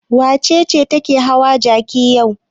Wace ce take hawa jaki yau?